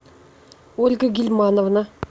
ольга гильмановна